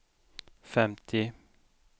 femtio